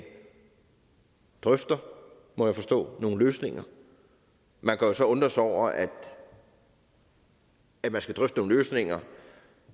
drøfter må jeg forstå nogle løsninger man kan jo så undres over at man man skal drøfte nogle løsninger